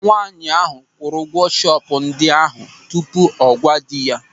Nwaanyị ahụ kwụrụ ụgwọ shọpụ ndị ahụ tupu ọ gwa dị ya.